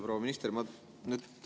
Proua minister!